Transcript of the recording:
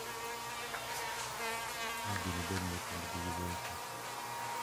Ma gibed gi nyithindgi giwegi.